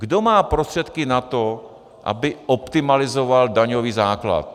Kdo má prostředky na to, aby optimalizoval daňový základ?